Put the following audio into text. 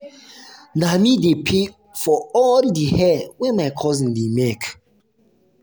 na me dey pay for all di hair wey my cousins dey make.